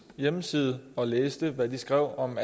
hjemmeside og læste hvad de skrev om